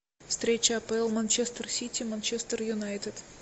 встреча апл манчестер сити манчестер юнайтед